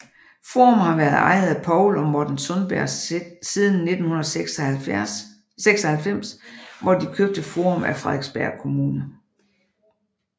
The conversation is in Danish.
Forum har været ejet af Poul og Morten Sundberg siden 1996 hvor de købte Forum af Frederiksberg Kommune